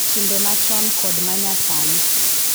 Timbe machon kod ma nyasani